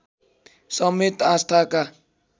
समेत आस्थाका